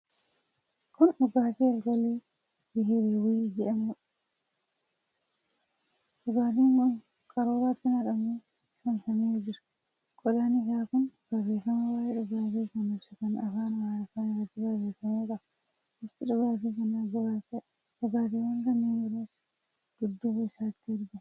Kuni dhugaatii alkoolii Biheeraawwii jedhamuudha. Dhugaatiin kun qaruuraatti naqamee saamsamee jira. Qodaan isaa kun barreefama waa'ee dhugaatii kan ibsu kan afaan Amaariffaan irratti barreefame qaba. Bifti dhugaatii kanaa gurraachadha. Dhugaatiwwan kanneen biroos dudduuba isaatti argamu.